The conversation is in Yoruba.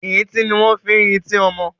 Ì̀rintí ní wọ́n ń fi ń rintí ọmọ.